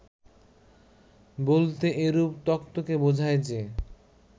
বলতে এরূপ তত্ত্বকে বোঝায় যে